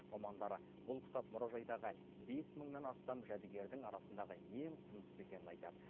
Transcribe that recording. мамандар бұл кітап мұражайдағы бес мыңнан астам жәдігердің арасындағы ең құндысы екенін айтады